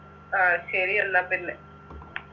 ആ ശരിയെന്നാപ്പിന്നെ